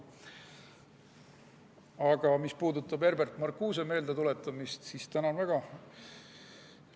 Aga mis puudutab Herbert Marcuse meeldetuletamist, siis tänan väga.